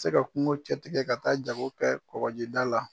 Tɛ se ka kungo cɛtigɛ ka taa jago kɛ kɔkƆjida la.